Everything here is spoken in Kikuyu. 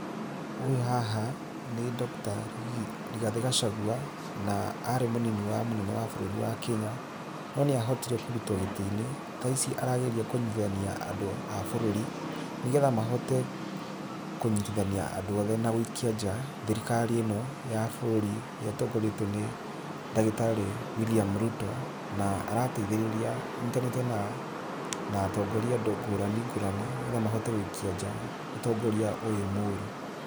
Ũyũ haha, nĩ Dr. Rigathĩ Gachagua, na arĩ mũnini wa mũnene wa bũrũri wa Kenya, no nĩ ahotire kũrutwo gĩtĩ-inĩ, tha ici arageria kũnyitithania andũ a bũrũri, nĩgetha mahote kũnyitithania andũ othe na gũikia nja thirikari ĩno ya bũrũri ĩtongoretio nĩ ndagĩtarĩ William Ruto na arateithĩrĩria, anyitanĩte na atongoria ngũrani ngũrani nĩgetha mahote gũikia nja mũtongoria ũyũ mũru.